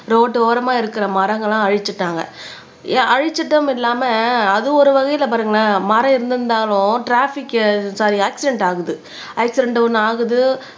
road ஓரமா இருக்கிற மரங்கள எல்லாம் அழிச்சுட்டாங்க அழிச்சிட்டும் இல்லாம அது ஒரு வகையில பாருங்களேன் மரம் இருந்திருந்தாலும் ட்ராபிக்கு சாரி ஆக்சிடண்ட் ஆகுது ஆக்சிடண்ட் ஒண்ணு ஆகுது